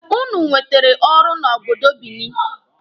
Ụnụ nwetere ọrụ na obodo Binini.